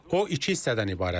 O iki hissədən ibarətdir.